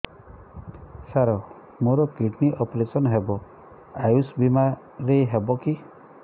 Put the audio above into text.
ସାର ମୋର kidney operation ହେବ ଆୟୁଷ ବିମାରେ ହେବ କି